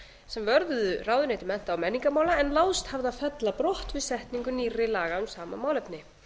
sem vörðuðu ráðuneyti mennta og menningarmála en láðst hafði að fella brott við setningu nýrra laga um sama málefni